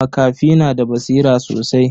Makafi na da basira sosai.